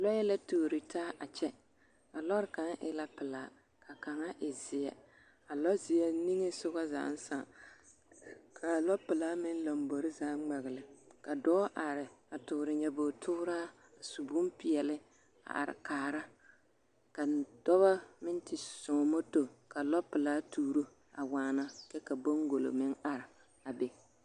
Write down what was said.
Lɔɛ la tuori taa a kyɛ a lɔre kaŋ e la pelaa ka kaŋa e zeɛ, a lɔzeɛ niŋesogɔ zaaŋ sãã k'a lɔpelaa meŋ lombori zaa ŋmɛgele, ka dɔɔ are a toore nyobogi tooraa, su bompeɛle a are kaara ka dɔbɔ meŋ te zõõ moto ka lɔpelaa tuuro a waana kyɛ ka baŋgolo meŋ are a be.